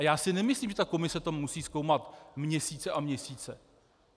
A já si nemyslím, že ta komise to musí zkoumat měsíce a měsíce.